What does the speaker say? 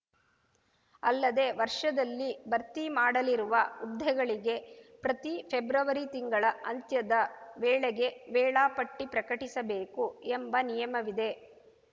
ಅಲ್ಲದೆ ವರ್ಷದಲ್ಲಿ ಭರ್ತಿ ಮಾಡಲಿರುವ ಹುದ್ದೆಗಳಿಗೆ ಪ್ರತಿ ಫೆಬ್ರವರಿ ತಿಂಗಳ ಅಂತ್ಯದ ವೇಳೆಗೆ ವೇಳಾಪಟ್ಟಿಪ್ರಕಟಿಸಬೇಕು ಎಂಬ ನಿಯಮವಿದೆ